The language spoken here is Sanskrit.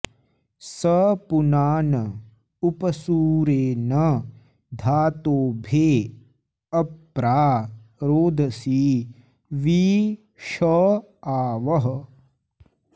स पुनान उप सूरे न धातोभे अप्रा रोदसी वि ष आवः